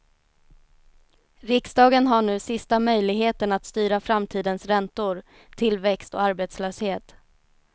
Riksdagen har nu sista möjligheten att styra framtidens räntor, tillväxt och arbetslöshet.